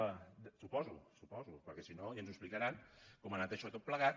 ho suposo ho suposo perquè si no ja ens ho explicaran com ha anat això tot plegat